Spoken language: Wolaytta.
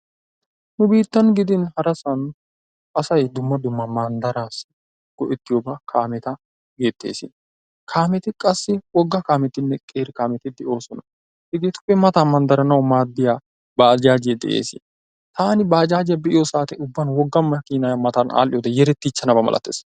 Nu biittan gidin harasan asay dumma dumma manddarassi go''ettiyooba kaameta gettees. Kaameti qassi wogga kaametiine qeeri kaameti de'oosona. Hegetuppe matan manddaranaw maaddiya bajaaje de'ees. Taan bajaajiya be'iyo saate ubban wogga maakina matan matan all''iyoode yerettichanaba malatees.